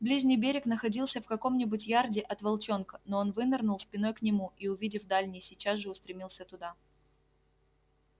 ближний берег находился в каком нибудь ярде от волчонка но он вынырнул спиной к нему и увидев дальний сейчас же устремился туда